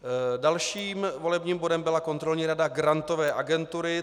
Dalším volebním bodem byla Kontrolní rada Grantové agentury.